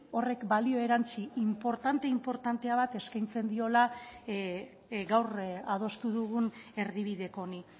horrek balio erantsi inportante inportantea bat eskaintzen diola gaur adostu dugun erdibideko honi